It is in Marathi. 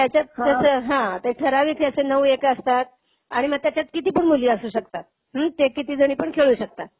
त्याच्यात त्याचं हां, ते ठराविक हे असे नऊ एक असतात. आणि मग त्याच्यात किती पण मुली असू शकतात. हम्म ते किती जणी पण खेळू शकतात.